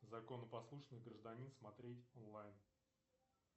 законопослушный гражданин смотреть онлайн